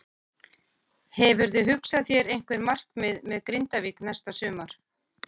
Hefurðu hugsað þér einhver markmið með Grindavík næsta sumar?